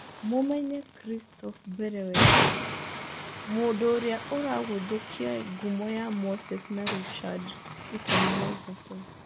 Mũmenye Kristoff Mbere wega, mũndũ ũrĩa ũragũthũkia ngumo ya Moses na Richard ikũmi na ithatũ.